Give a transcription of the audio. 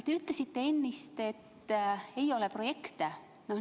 Te ütlesite ennist, et ei ole projekte.